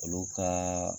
Olu ka